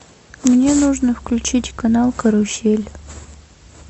мне нужно включить канал карусель